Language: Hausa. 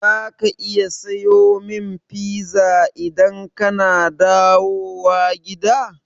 Za ka iya sayo min pizza idan kana dawowa gida?